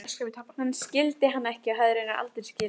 Hann skildi hana ekki og hafði raunar aldrei skilið hana.